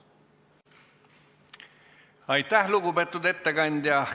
Aitäh, lugupeetud ettekandja!